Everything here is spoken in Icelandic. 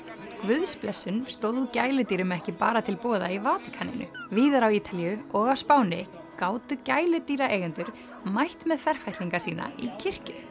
guðsblessun stóð gæludýrum ekki bara til boða í Vatíkaninu víðar á Ítalíu og á Spáni gátu gæludýraeigendur mætt með ferfætlinga sína í kirkju